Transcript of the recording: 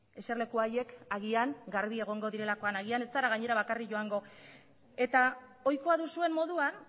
eserleku horiek agian garbi egongo direlakoan agian gainera ez zera bakarrik joango eta ohikoa duzuen moduan